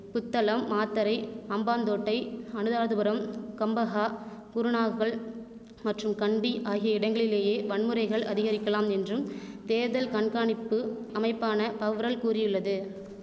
புத்தளம் மாத்தறை அம்பாந்தோட்டை அனுராதபுரம் கம்பஹா குருணாகல் மற்றும் கண்டி ஆகிய இடங்களிலேயே வன்முறைகள் அதிகரிக்கலாம் என்றும் தேர்தல்கண்காணிப்பு அமைப்பான பவ்ரல் கூறியுள்ளது